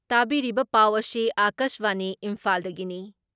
ꯇꯥꯕꯤꯔꯤꯕ ꯄꯥꯎ ꯑꯁꯤ ꯑꯀꯥꯁꯕꯥꯅꯤ ꯏꯝꯐꯥꯜꯗꯒꯤꯅꯤ ꯫